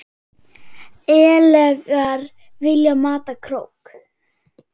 ellegar vilji mata krók.